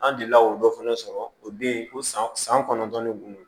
An delila k'o dɔ fana sɔrɔ o bɛ ye o san san kɔnɔntɔn ne kun don